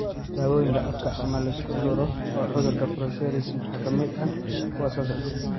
Daawooyinka afka ama la isku duro ee cudurka psoriasis waxaa ka mid ah kuwan soo socda.